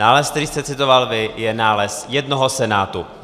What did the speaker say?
Nález, který jste citoval vy, je nález jednoho senátu.